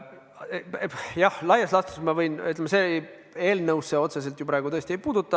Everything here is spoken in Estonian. Jah, laias laastus ma võin vastata, kuigi see eelnõusse otseselt tõesti ei puutu.